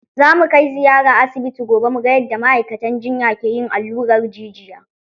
Za mu kai ziyara asibiti gobe mu ga yadda ma'aikatan jinya ke yin allurar jijiya.